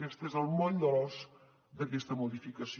aquest és el moll de l’os d’aquesta modificació